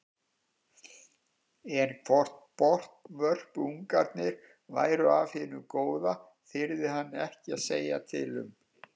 En hvort botnvörpungarnir væru af hinu góða þyrði hann ekki að segja til um.